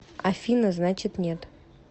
афина значит нет